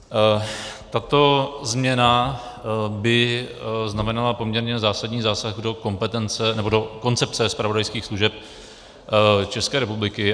Tato změna by znamenala poměrně zásadní zásah do koncepce zpravodajských služeb České republiky.